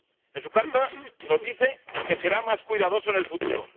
En su carta nos dice que será más cuidadoso en el futuro.